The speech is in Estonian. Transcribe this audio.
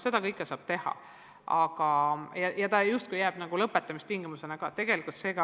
Seda saab teha ja see justkui jääb lõpetamistingimuseks.